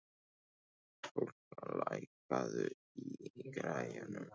Kolka, lækkaðu í græjunum.